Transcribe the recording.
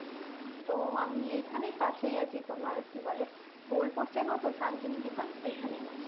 তো আমি এইখানেই কাছেই আছি তোমার কি বলে বোলপুর চেনো তো শান্তিনিকেতন ওইখানেই আছি